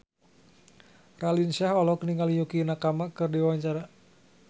Raline Shah olohok ningali Yukie Nakama keur diwawancara